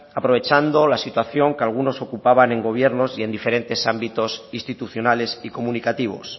aprovechando la situación que algunos ocupaban en gobiernos y en diferentes ámbitos institucionales y comunicativos